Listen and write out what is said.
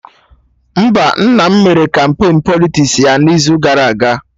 Mba, nna m mere kampain Politiks ya n'izu gara aga